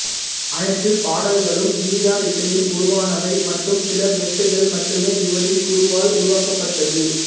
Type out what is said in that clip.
அனைத்துப் பாடல்களும் கிதார் இசையில் உருவானவை மற்றும் சில மெட்டுகள் மட்டுமே இவரின் குருவால் உருவாக்கப்பட்டது